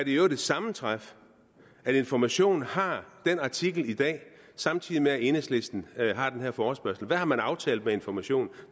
i øvrigt et sammentræf at information har den artikel i dag samtidig med at enhedslisten har den her forespørgsel hvad har man aftalt med information